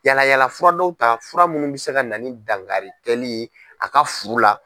Yala yalafura dɔw ta fura minnu bɛ se ka na ni dangarikɛli ye a ka furu la.